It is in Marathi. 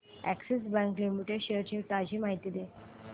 अॅक्सिस बँक लिमिटेड शेअर्स ची ताजी माहिती दे